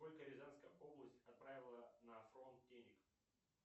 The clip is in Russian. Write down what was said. сколько рязанская область отправила на фронт денег